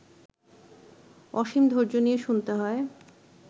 অসীম ধৈর্য নিয়ে শুনতে হয়